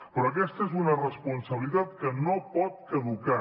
però aquesta és una responsabilitat que no pot caducar